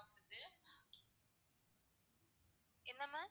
என்ன ma'am?